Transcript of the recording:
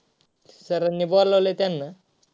sir आनी बोलवलय त्यांना.